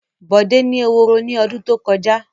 Bọ̀dé ni eworo ní ọdún tó kọjá.